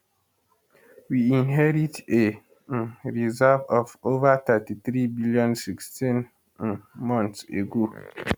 we inherit a um reserve of over 33 billion 16 um months ago